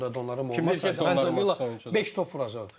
O oyunda Donnarumma olmasaydı beş top vuracaqdı.